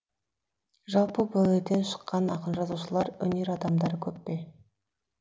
жалпы бұл елден шыққан ақын жазушылар өнер адамдары көп пе